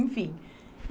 Enfim.